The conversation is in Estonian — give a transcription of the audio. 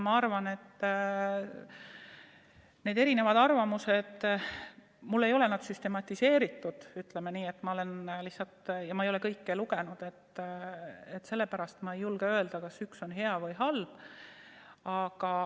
Ma arvan, et need eri arvamused – mul ei ole nad süstematiseeritud ja ma ei ole kõiki lugenud, sellepärast ma ei julge öelda, kas üks või teine on hea või halb.